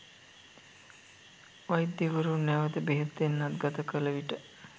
වෛද්‍යවරුන් නැවත බෙහෙත් එන්නත් ගත කළ විට